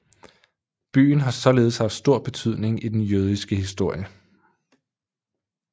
Byen har således haft stor betydning i den jødiske historie